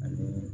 Ani